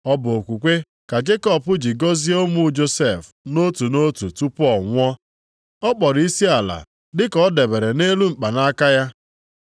Ọ bụ okwukwe ka Jekọb ji gọzie ụmụ Josef nʼotu nʼotu tupu ọ nwụọ. Ọ kpọrọ isiala dịka ọ dabere nʼelu mkpanaka ya.